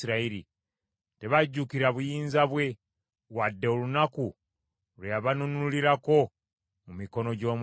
Tebajjukira buyinza bwe; wadde olunaku lwe yabanunulirako mu mikono gy’omulabe;